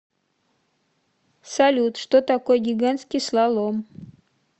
салют что такое гигантский слалом